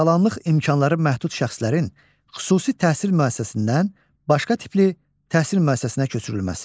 Sağlamlıq imkanları məhdud şəxslərin xüsusi təhsil müəssisəsindən başqa tipli təhsil müəssisəsinə köçürülməsi.